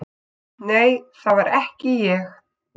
Nei, það var ekki ég